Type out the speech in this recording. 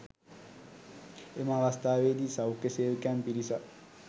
එම අවස්ථාවේදී සෞඛ්‍ය සේවකයන් පිරිසක්